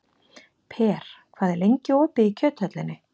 Per, hvað er lengi opið í Kjöthöllinni?